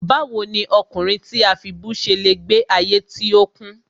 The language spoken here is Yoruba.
Báwo ni ọkùnrin tí a fibú ṣe le gbe ayé tí ó kún?